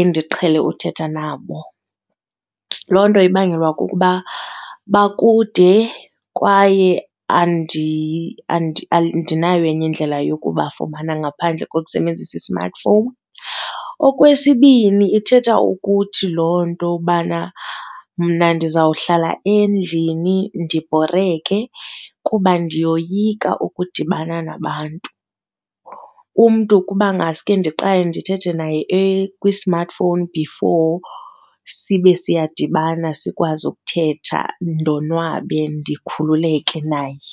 endiqhele uthetha nabo. Loo nto ibangelwa kukuba bakude kwaye andinayo enye indlela yokubafumana ngaphandle kokusebenzisa i-smartphone. Okwesibini ithetha ukuthi loo nto ubana mna ndizawuhlala endlini ndibhoreke kuba ndiyoyika ukudibana nabantu. Umntu kuba ngaske ndiqale ndithethe naye kwi-smartphone before sibe siyadibana sikwazi ukuthetha ndonwabe ndikhululeke naye.